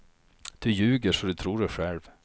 Du ljuger så du tror det själv.